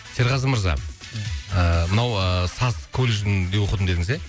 серғазы мырза ыыы мынау ыыы саз колледжінде оқыдым дедіңіз ия